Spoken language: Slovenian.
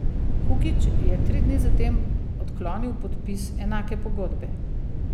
Hukić je tri dni zatem odklonil podpis enake pogodbe.